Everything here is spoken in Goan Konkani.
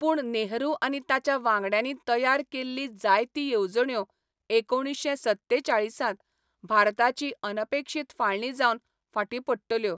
पूण नेहरू आनी ताच्या वांगड्यांनी तयार केल्लीं जायतीं येवजण्यो एकुणीश्शें सत्तेचाळीस त भारताची अनपेक्षीत फाळणी जावन फाटीं पडटल्यो.